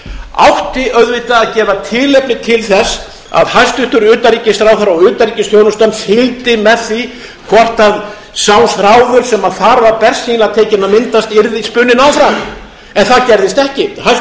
átti auðvitað að gefa tilefni til þess að hæstvirtur utanríkisráðherra og utanríkisþjónustan fylgdi með því hvort sá þráður sem þar var bersýnilega tekinn að myndast yrði spunninn áfram en það gerðist ekki hæstvirtur utanríkisráðherra